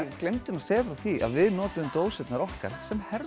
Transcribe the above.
gleymdum að segja frá því að við notuðum dósirnar okkar sem